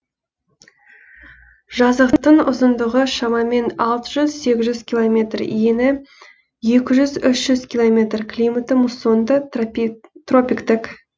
жазықтың ұзындығы шамамен алты жүз сегіз жүз километр ені екі жүз үш жүз километр климаты муссонды тропиктік